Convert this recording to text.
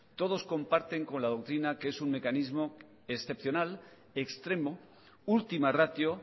todos comparten con la doctrina que es un mecanismo excepcional extremo última ratio